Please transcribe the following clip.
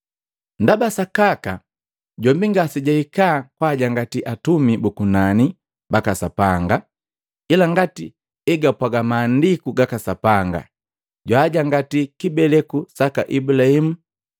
Ndaba sakaka jombi ngasejahika kwaajangati atumi buku nani baka Sapanga, ila ngati egapwaga Maandiku gaka Sapanga; “Jwaajangati kibeleku saka Ibulahimu.”